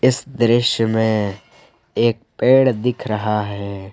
इस दृश्य में एक पेड़ दिख रहे हैं।